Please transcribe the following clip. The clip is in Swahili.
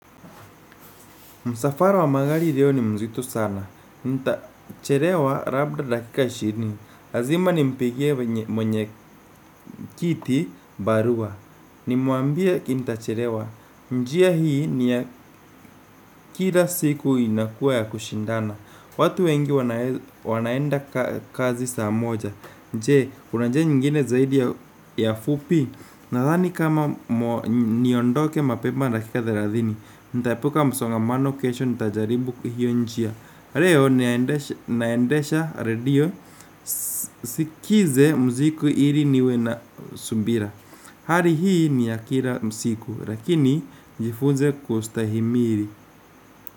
Msafara wa magari ndio ni mzito sana. Nitachelewa labda dakika ishirini. Lazima nimpigie mwenyekiti barua. Nimwambie nita chelewa. Njia hii ni ya kila siku inakuwa ya kushindana. Watu wengi wanaenda kazi saa moja je, una njia nyingine zaidi ya fupi. Nadhani kama niondoke mapema dakika thelathini. Ntaepuka msongamano kesho ntajaribu kwa hio njia leo naendea radio nisikize mziki ili niwe na subira hali hii ni ya kila mziki lakini jifunze kustahimili.